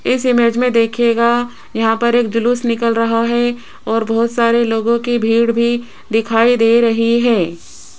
इस इमेज में देखिएगा यहां पर एक जलूस निकल रहा है और बहुत सारे लोगों की भीड़ भी दिखाई दे रही है।